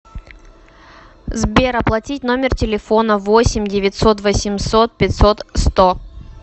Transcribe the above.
сбер оплатить номер телефона восемь девятьсот восемьсот пятьсот сто